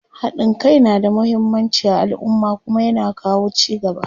haɗin Kai na da muhimmanci a alumma Kuma ya na kawo ci gaba